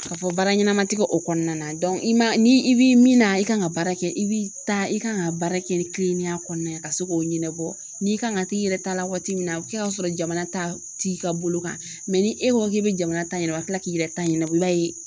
Ka fɔ baara ɲɛnama ti kɛ o kɔnɔna na ni i bi min na i kan ka baara kɛ i bi taa i kan ka baara kɛ ni kilennenya kɔnɔ ka se k'o ɲɛnabɔ n'i kan ka t'i yɛrɛ ta la waati min na a bi kɛ ka sɔrɔ jamana ta t'i ka bolo kan ni e ko k'i be jamana ta ɲɛnabɔ ka kila k'i yɛrɛ ta ɲɛnabɔ i b'a ye